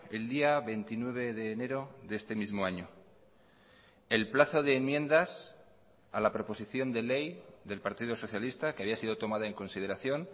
el día veintinueve de enero de este mismo año el plazo de enmiendas a la proposición de ley del partido socialista que había sido tomada en consideración